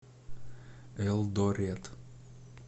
элдорет